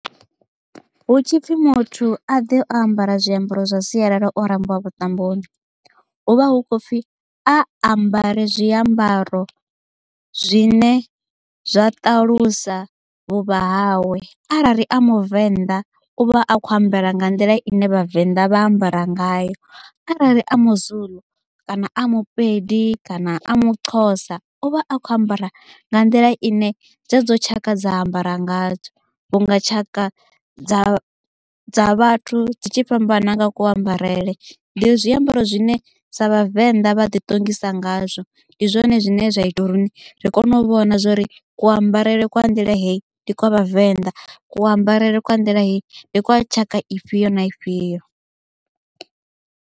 Hu tshipfi muthu a ḓe o ambara zwiambaro zwa sialala o rambiwa vhuṱamboni, hu vha hu khou pfhi a ambare zwiambaro zwine zwa ṱalusa vhuvha hawe arali a muvenḓa uvha a kho ambara nga nḓila ine vhavenḓa vha ambara ngayo, arali a muzulu kana a mupedi kana a muxhosa uvha a kho ambara nga nḓila ine dzedzo tshaka dza ambara ngadzo. Vhunga tshaka dza dza vhathu dzi tshi fhambana ku ambarele ndi zwiambaro zwine sa vhavenḓa vha ḓiṱongisa ngazwo ndi zwone zwine zwa ita uri ri kone u vhona zwori ku ambarele kwa nḓila hei ndi kwa vhavenḓa ku ambarele kwa nḓila hei ndi kwa tshaka ifhio na ifhio.